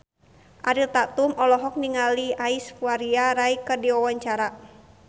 Ariel Tatum olohok ningali Aishwarya Rai keur diwawancara